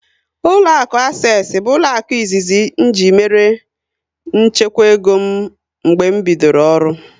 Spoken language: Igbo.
Ụlọakụ Asesi bụ ụlọaku izizi ji mère nchekwa ego m mgbe m bidoro ọrụ